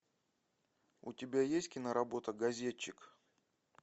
у тебя есть киноработа газетчик